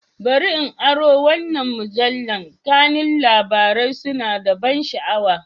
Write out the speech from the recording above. Bari in aron wannan mujallar, kanun labarai suna da ban sha'awa.